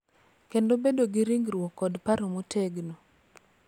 Kendo bedo gi ringruok kod paro motegno.